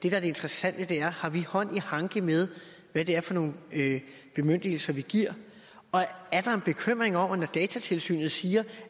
er det interessante er har vi hånd i hanke med hvad det er for nogle bemyndigelser vi giver og er der en bekymring når datatilsynet siger